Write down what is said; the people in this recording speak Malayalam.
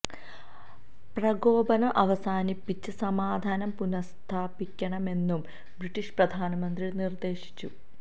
പ്രകോപനം അവസാനിപ്പിച്ച് സമാധാനം പുന സ്ഥാ പിക്കണമെന്നും ബ്രിട്ടീഷ് പ്രധാനമന്ത്രി നിര്ദേശിച്ചു